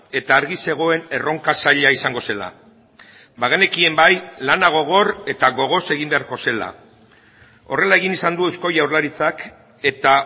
eta argi zegoen erronka zaila izango zela bagenekien bai lana gogor eta gogoz egin beharko zela horrela egin izan du eusko jaurlaritzak eta